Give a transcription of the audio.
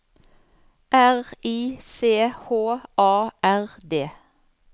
R I C H A R D